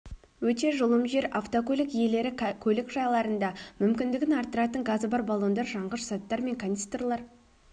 өте жұлым жер автокөлік иелері көлік жайларында мүмкіндігін арттыратын газы бар баллондар жанғыш заттар бар канистрлар